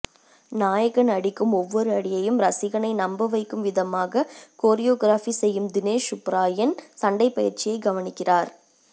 நாயகன் அடிக்கும் ஒவ்வொரு அடியையும் ரசிகனை நம்ப வைக்கும் விதமாக கொரியோகிராபி செய்யும் தினேஷ் சூப்பராயன் சண்டைப்பயிற்சியை கவனிக்கிறார்